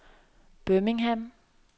Birmingham